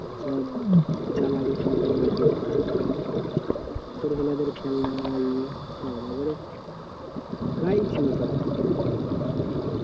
সব যা লাগে সংসার ইয়েতে ছোট ছেলেদের খেলনা এই সব একবারে প্রায় ছিল সব, ও